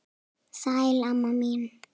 Sæl, amma mín.